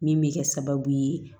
Min bɛ kɛ sababu ye